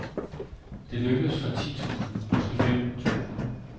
Det lykkedes for ti tusinde, måske femten tusinde.